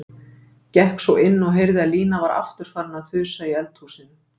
Gekk svo inn og heyrði að Lína var aftur farin að þusa í eldhúsinu.